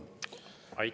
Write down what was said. Aitäh!